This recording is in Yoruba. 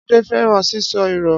Ade fẹran sisọ irọ.